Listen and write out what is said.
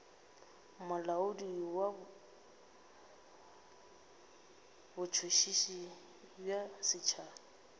molaodi wa botšhotšhisi bja setšhaba